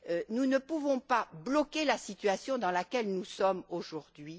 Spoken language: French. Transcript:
Nous ne pouvons pas rester bloqués dans la situation dans laquelle nous sommes aujourd'hui.